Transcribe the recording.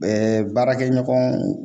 Ɛɛ baarakɛɲɔgɔn